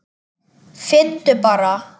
Finndu bara!